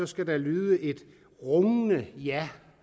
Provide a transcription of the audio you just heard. skal der lyde et rungende ja